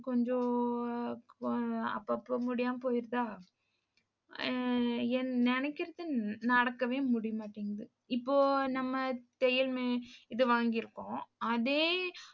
கொஞ்சம், அப்போ அப்பப்ப முடியாம போயிருதா அஹ் நினைக்கிறது நடக்கவே முடியமாட்டேங்குது. இப்போ நம்ம தையல் இது வாங்கிருக்கோம். அதே